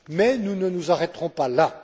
Mais nous ne nous arrêterons pas